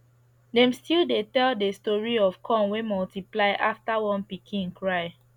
dem still dey tell the story of corn wey multiply after one pikin cry